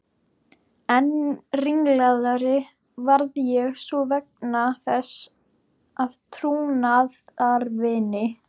Enn ringlaðri varð ég svo vegna þess að trúnaðarvini